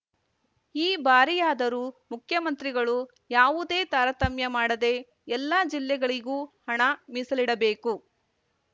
ಈ ಬಾರಿಯಾದರೂ ಮುಖ್ಯಮಂತ್ರಿಗಳು ಯಾವುದೇ ತಾರತಮ್ಯ ಮಾಡದೆ ಎಲ್ಲ ಜಿಲ್ಲೆಗಳಿಗೂ ಹಣ ಮೀಸಲಿಡಬೇಕು